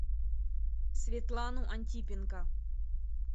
светлану антипенко